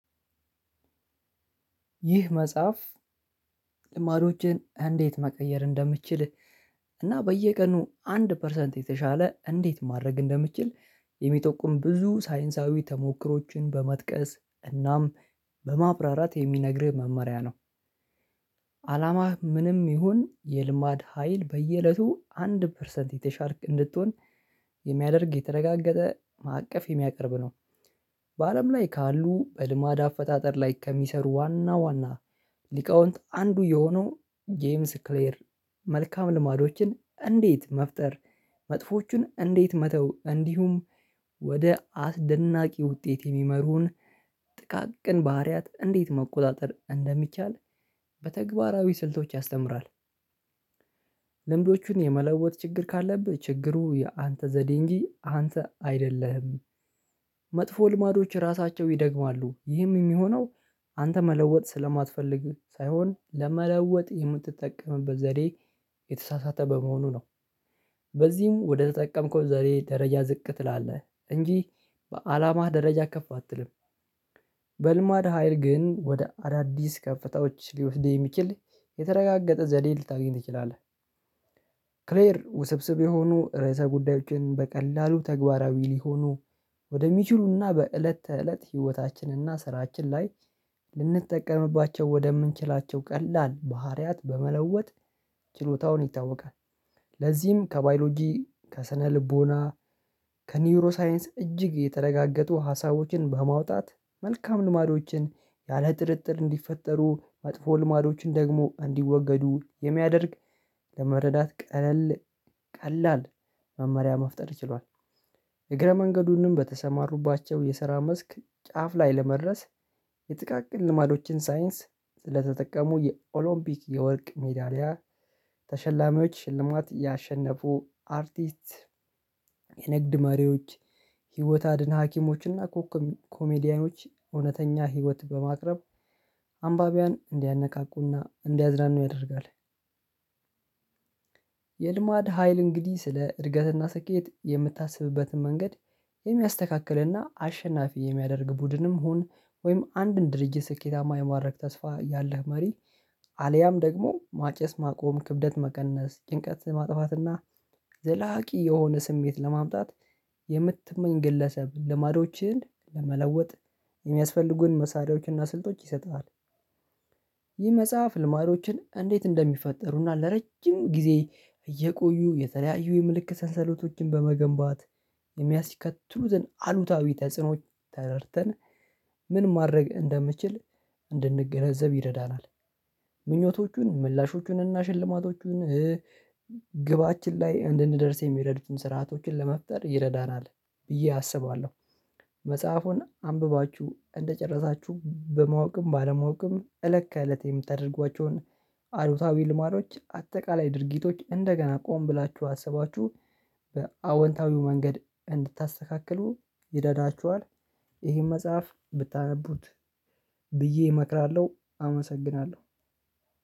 ይህ መጽሐፍ ልማዶችን እንዴት መቀየር እንደምትችል እና በየቀኑ አንድ ፐርሰንት የተሻለ እንዴት ማድረግ እንደምትችል የሚጠቁም ብዙ ሳይንሳዊ ተሞክሮዎችን በመጥቀስ እናም በማብራራት የሚነግርህ መመሪያ ነው። ዓላማህ ምንም ይሁን የልማድ ሀይል በየእለቱ አንድ ፐርሰንት የተሻልክ እንድትሆን የሚያደርግ የተረጋገጠ ማዕቀፍ የሚያቀርብ ነው። በአለም ላይ ካሉ በልማድ አፈጣጠር ላይ ከሚሰሩ ዋና ዋና ሊቃውንት አንዱ የሆነው ጄምስ ክሌር መልካም ልማዶችን እንዴት መፍጠር መጥፎዎቹን እንዴት መተው እንዲሁም ወደ አስደናቂ ውጤት የሚመሩን ጥቃቅን ባህሪያት እንዴት መቆጣጠር እንደሚቻል በተግባራዊ ስልቶች ያስተምራል። ልምዶቹን የመለወጥ ችግር ካለብህ ችግሩ የአንተ ዘዴ እንጂ አንተ አይደለህም መጥፎ ልማዶች ራሳቸው ይደግማሉ። ይህም የሚሆነው አንተ መለወጥ ስለማትፈልግ ሳይሆን ለመለወጥ የምትጠቀምበት ዘዴ የተሳሳተ በመሆኑ ነው። በዚህም ወደተጠቀምከው ዘዴ ደረጃ ዝቅ ትላለህ እንጂ በዓላማህ ደረጃ ከፍ አትልም። በልማድ ሀይል ግን ወደ አዳዲስ ከፍታዎች ሊወስድህ የሚችል የተረጋገጠ ዘዴ ልታገኝ ትችላለህ። ክሌር ውስብስብ የሆኑ ርዕሰ ጉዳዮችን በቀላሉ ተግባራዊ ሊሆኑ ወደሚችሉና በእለት ተእለት ህይወታችንና ስራችን ላይ ልንጠቀምባቸው ወደምንችላቸው ቀላል ባህሪያት በመለወጥ ችሎታውን ይታወቃል ለዚህም ከባዮሎጂ: ከሰነልቦና ከኒውሮ ሳይንስ እጅግ የተረጋገጡ ሀሳቦችን በማውጣት መልካም ልማዶችን ያለጥርጥር እንዲፈጠሩ መጥፎ ልማዶችን ደግሞ እንዲወገዱ የሚያደርግ ለመረዳት ቀለል ቀላል መመሪያ መፍጠር ችሏል። እግረ መንገዱንም በተሰማሩባቸው የስራ መስክ ጫፍ ላይ ለመድረስ የጥቃቅን ልማዶችን ሳይንስ ስለተጠቀሙ የኦሎምፒክ የወርቅ ሜዳሊያ ተሸላሚዎች ሽልማት ያሸነፉ አርቲስት የንግድ መሪዎች ህይወት አድን ሀኪሞች እና ኮኮብ ኮሜዲያኖች እውነተኛ ህይወት በማቅረብ አንባቢያን እንዲያነቃቁና እንዲያዝናኑ ያደርጋል የልማድ ሀይል እንግዲህ ስለ እድገትና ስኬት የምታስብበትን መንገድ የሚያስተካክልና አሸናፊ የሚያደርግ ቡድንም ሁን ወይም አንድን ድርጅት ስኬታማ የማድረግ ተስፋ ያለህ መሪ አልያም ደግሞ ማጨስ ማቆም ክብደት መቀነስ ጭንቀት የማጥፋት እና ዘላቂ የሆነ ስሜት ለማምጣት የምትመኝ ግለሰብ ልማዶችን ለመለወጥ የሚያስፈልጉህን መሳሪያዎችንና ስልጦችን ይሰጥሃል ይህ መጽሐፍ ልማዶችን እንዴት እንደሚፈጠሩና ለረጅም ጊዜ እየቆዩ የተለያዩ የምልክት ሰንሰለቶችን በመገንባት የሚያስከትሉትን አሉታዊ ተጽዕኖዎች ተረድተን ምን ማድረግ እንደምችል እንድንገነዘብ ይረዳናል። ምኞቶቹን ምላሾቹንና ሽልማቶቹን ግባችን ላይ እንድንደርስ የሚረዱትን ስርዓቶችን ለመፍጠር ይረዳናል ብዬ አስባለሁ። መጽሐፉን አንብባችሁ እንደጨረሳችሁ በማወቅም ባለማወቅም እለት ከእለት የምታደርጓቸውን አሉታዊ ልማዶች አጠቃላይ ድርጊቶች እንደገና ቆም ብላችሁ አስባችሁ በአዎንታዊው መንገድ እንድታስተካክሉ ይደዳችኋል ይሄን መጽሐፍ ብታነቡት ብዬ እመክራለሁ አመሰግናለሁ።